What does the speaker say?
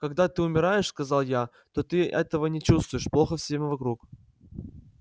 когда ты умираешь сказал я то ты этого не чувствуешь плохо всем вокруг